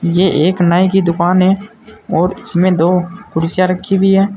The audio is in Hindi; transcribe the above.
ये एक नाई की दुकान है और इसमें दो कुर्सियां रखी हुई है।